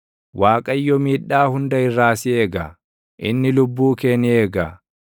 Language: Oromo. Waaqayyo miidhaa hunda irraa si eega; inni lubbuu kee ni eega;